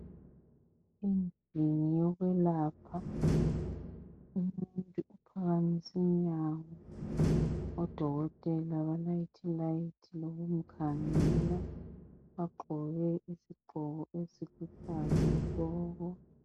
Endlini yokwelapha. Kulomuntu ophakamisi inyawo. Odokotela balayithi ilayithi, lokumkhangela. Bagqoke izigqoko, eziluhlaza tshoko!